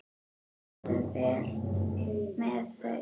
Farðu vel með þau.